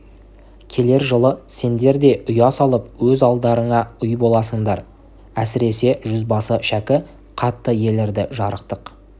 келер жылы сендер де ұя салып өз алдарыңа үй боласыңдар әсіресе жүзбасы шәкі қатты елірді жарықтық